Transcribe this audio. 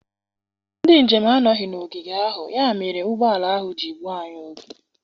Ndị njem anọghị n'ogige ahụ, ya mere ụgbọ ala ahụ ji gbuo anyị oge.